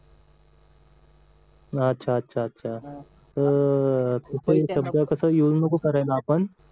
अच्च्छा अच्च्छा अच्छा ते शब्द कस युज नको करायला आपण